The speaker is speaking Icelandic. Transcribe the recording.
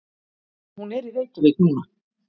Hún er í Reykjavík núna.